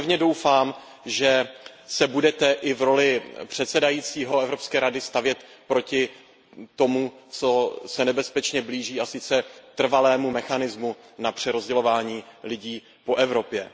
A já pevně doufám, že se budete i v roli předsedajícího Evropské rady stavět proti tomu, co se nebezpečně blíží, a sice trvalému mechanismu na přerozdělování lidí po Evropě.